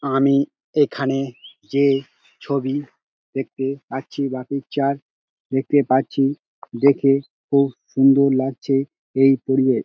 আমি এখানে যে ছবি দেখতে পাচ্ছি বা পিকচার দেখতে পাচ্ছি দেখে খুব সুন্দর লাগছে এই পরিবেশ।